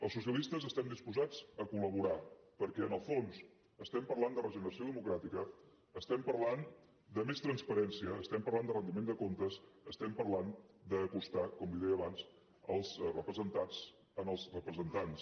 els socialistes estem disposats a colen el fons estem parlant de regeneració democràtica estem parlant de més transparència estem parlant de rendiment de comptes estem parlant d’acostar com li deia abans els representats als representants